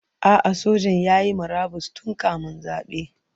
A'a, sojan ya yi murabus tun kamin zabe.